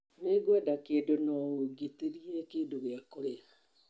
Nĩngwenda kĩndũ No ũgitirie kĩndũ gĩa kũrĩa .